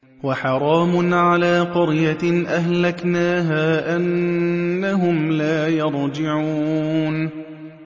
وَحَرَامٌ عَلَىٰ قَرْيَةٍ أَهْلَكْنَاهَا أَنَّهُمْ لَا يَرْجِعُونَ